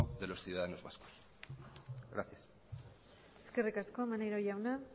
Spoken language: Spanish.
de los ciudadanos vascos gracias eskerrik asko maneiro jauna